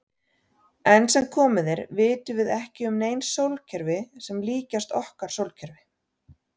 Enn sem komið er vitum við ekki um nein sólkerfi sem líkjast okkar sólkerfi.